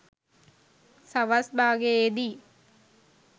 සවස් භාගයේ දී